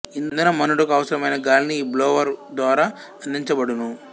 ఇంధనం మండుటకు అవసరమైన గాలిని ఈ బ్లోవరు ద్వారా అందించబడును